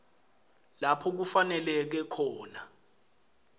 lapho kufaneleke khona